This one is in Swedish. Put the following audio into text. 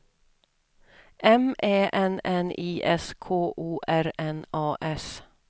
M Ä N N I S K O R N A S